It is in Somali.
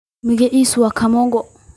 Magaciisa wa Kamongo.